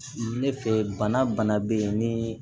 Ne fɛ bana be yen ni